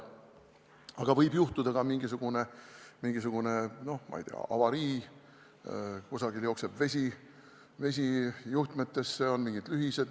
Võib ju juhtuda ka mingisugune, noh, ma ei tea, avarii, kusagil jookseb vesi juhtmetesse, on mingid lühised.